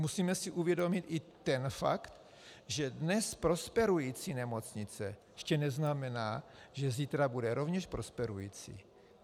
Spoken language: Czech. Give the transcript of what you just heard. Musíme si uvědomit i ten fakt, že dnes prosperující nemocnice ještě neznamená, že zítra bude rovněž prosperující.